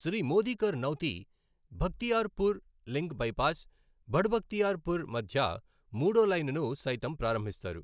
Shri Modi Karnauti Bakhtiyarpur link bypass, Barh Bakhtiyarpur మధ్య మూడో లైనును సైతం ప్రారంభిస్తారు.